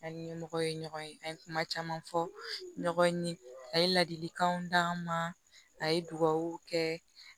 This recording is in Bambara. An ni ɲɛmɔgɔ ye ɲɔgɔn ye an ye kuma caman fɔ ɲɔgɔn ye a ye ladilikanw d'an ma a ye dugawu kɛ